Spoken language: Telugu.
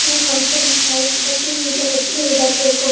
మనకు అవసరం ఉంటాయి కాబట్టి నీళ్లను ఎప్పుడు వృధా చేయకూడదు --